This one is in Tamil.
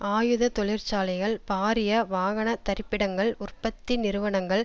ஆயுத தொழிற்சாலைகள் பாரிய வாகனத்தரிப்பிடங்கள் உற்பத்தி நிறுவனங்கள்